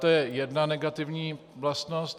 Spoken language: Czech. To je jedna negativní vlastnost.